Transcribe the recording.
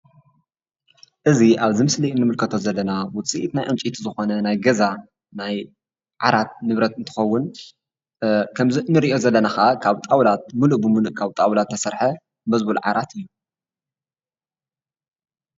እዚ ኣብዚ ምስሊ እንምልከቶ ዘለና ውፅኢት ናይ ዕንጨይቲ ዝኾነ ናይ ገዛ ናይ ዓራት ንብረት እንትኸውን ከምዚ እንሪኦ ዘለና ኸኣ ድማ ብጣውላ ሙሉእ ብሙሉእ ካብ ጣውላ ዝተሰርሐ መዝቡል ዓራት እዩ፡፡